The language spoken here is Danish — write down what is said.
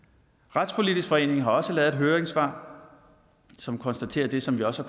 retspolitisk forening har også lavet et høringssvar som konstaterer det som vi også